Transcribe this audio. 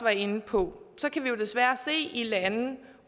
inde på kan vi jo desværre se i lande